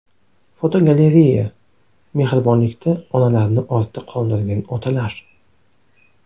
Fotogalereya: Mehribonlikda onalarni ortda qoldirgan otalar.